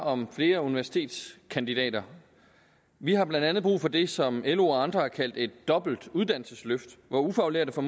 om flere universitetskandidater vi har blandt andet brug for det som lo og andre har kaldt et dobbelt uddannelsesløft hvor ufaglærte får